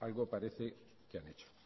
algo parece que han hecho